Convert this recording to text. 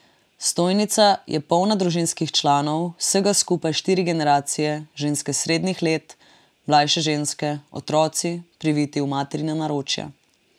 Stojnica je polna družinskih članov, vsega skupaj štiri generacije, ženske srednjih let, mlajše ženske, otroci, priviti v materina naročja.